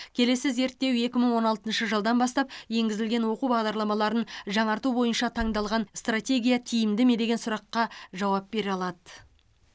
келесі зерттеу екі мың он алтыншы жылдан бастап енгізілген оқу бағдарламаларын жаңарту бойынша таңдалған стратегия тиімді ме деген сұраққа жауап бере алады